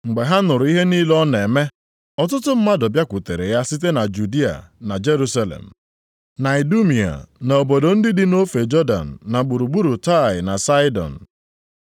Mgbe ha nụrụ ihe niile ọ na-eme, ọtụtụ mmadụ bịakwutere ya site na Judịa, na Jerusalem, na Idumia na obodo ndị dị nʼofe Jọdan, na gburugburu Taịa na Saịdọn.